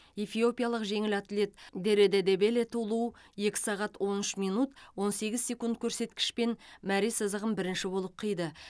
эфиопиялық жеңіл атлет дереде дебеле тулу екі сағат он үш минут он сегіз секунд көрсеткішпен мәре сызығын бірінші болып қиды